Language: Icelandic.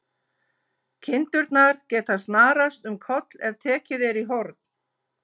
Kindurnar geta snarast um koll ef tekið er í horn.